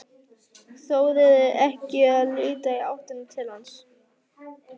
Þorir ekki að líta í áttina til hans.